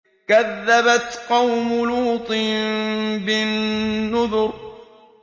كَذَّبَتْ قَوْمُ لُوطٍ بِالنُّذُرِ